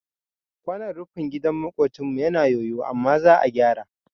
Kwanon rufin gidan maƙocinmu yana yoyo amma za a gyara